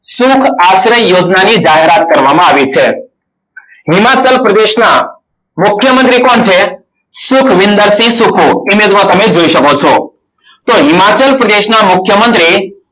સુખ આચરણ યોજનાની જાહેરાત કરવામાં આવી છે. હિમાચલ પ્રદેશના મુખ્યમંત્રી કોણ છે. સુખવિંદરસિંહ સુખુ image માં તમે જોઈ શકો છો. તો હિમાચલ પ્રદેશના મુખ્યમંત્રી